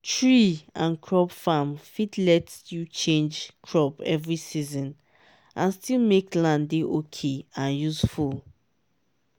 tree and crop farm fit let you change crop every season and still make land dey ok and usefult